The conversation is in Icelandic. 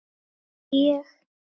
Segi ég.